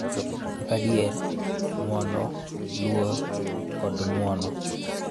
Kaka adier, ng�wono, luor, kod ng�uono,